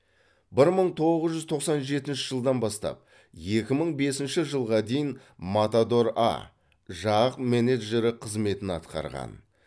бір мың тоғыз жүз тоқсан жетінші жылдан бастап екі мың бесінші жылға дейін матадор а жақ менеджері қызметін атқарған